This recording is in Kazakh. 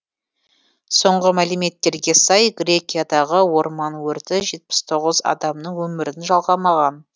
соңғы мәліметтерге сай грекиядағы орман өрті жетпіс тоғыз адамның өмірін жалғамаған